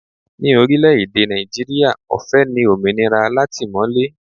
Ni orílẹ̀ èdè Nàìjíríà, ọ̀fẹ́ ni òmìnira látìmọ̀lé